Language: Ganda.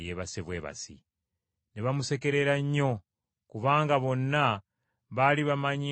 Ne bamusekerera nnyo, kubanga bonna baali bamanyi ng’omuwala afudde.